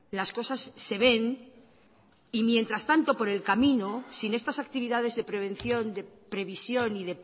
las cosas se ven y mientras tanto por el camino sin estas actividades de prevención de previsión y